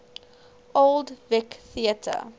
old vic theatre